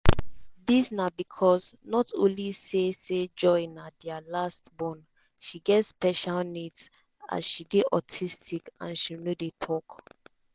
dis na becos not only say say joy na dia last born she get special needs as she dey autistic and she no dey tok.